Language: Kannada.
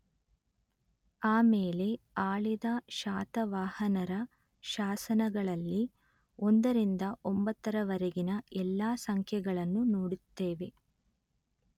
ಆಮೇಲೆ ಆಳಿದ ಶಾತವಾಹನರ ಶಾಸನಗಳಲ್ಲಿ ಒಂದರಿಂದ ಒಂಬತ್ತರವರೆಗಿನ ಎಲ್ಲ ಸಂಖ್ಯೆಗಳನ್ನೂ ನೋಡುತ್ತೇವೆ